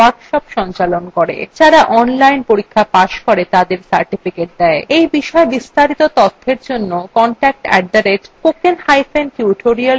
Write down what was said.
যারা online পরীক্ষা pass করে তাদের certificates দেয় এই বিষয় বিস্তারিত তথ্যের জন্য contact @spokentutorial org তে ইমেল করুন